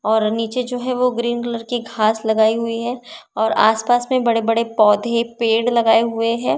और नीचे जो है वो ग्रीन कलर की घास लगाई हुई है और आस पास में बड़े बड़े पौधे पेड़ लगाए हुए है।